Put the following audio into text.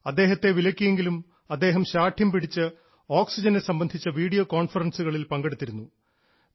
അദ്ദേഹത്തെ വിലക്കിയെങ്കിലും അദ്ദേഹം ശാഠ്യം പിടിച്ച് ഓക്സിജനെ സംബന്ധിച്ച വീഡിയോ കോൺഫറൻസുകളിൽ പങ്കെടുത്തിരുന്നു